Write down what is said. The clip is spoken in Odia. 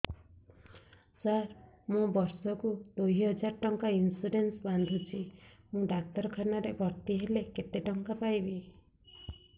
ସାର ମୁ ବର୍ଷ କୁ ଦୁଇ ହଜାର ଟଙ୍କା ଇନ୍ସୁରେନ୍ସ ବାନ୍ଧୁଛି ମୁ ଡାକ୍ତରଖାନା ରେ ଭର୍ତ୍ତିହେଲେ କେତେଟଙ୍କା ପାଇବି